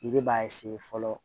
Yiri b'a fɔlɔ